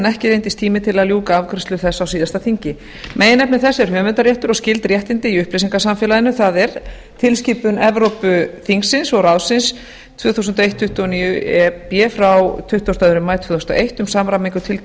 ekki reyndist tími til að ljúka afgreiðslu þess á síðasta þingi meginefni þess er höfundarréttur og skyld réttindi í upplýsingasamfélaginu það er tilskipun evrópuþingsins og evrópuráðsins tvö þúsund og ein tuttugu og níu e b frá tuttugasta og annan maí tvö þúsund og eitt um samræmingu